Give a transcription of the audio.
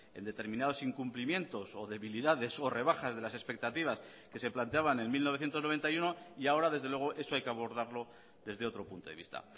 en determinados incumplimientos o debilidades o rebajas de las expectativas que se planteaban en mil novecientos noventa y uno y ahora desde luego eso hay que abordarlo desde otro punto de vista